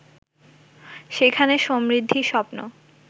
সেখানে সমৃদ্ধির স্বপ্ন